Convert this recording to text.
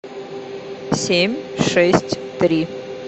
семь шесть три